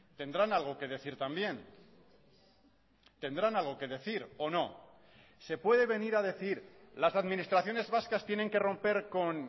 tendrán algo que decir también tendrán algo que decir o no se puede venir a decir las administraciones vascas tienen que romper con